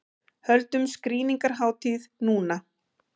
Höldum skrýningarhátíð núna!